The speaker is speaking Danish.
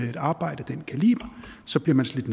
i et arbejde af den kaliber så bliver man slidt